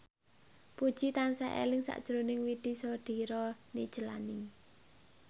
Puji tansah eling sakjroning Widy Soediro Nichlany